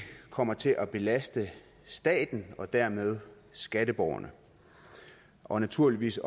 kommer til at belaste staten og dermed skatteborgerne og naturligvis